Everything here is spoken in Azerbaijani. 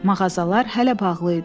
Mağazalar hələ bağlı idi.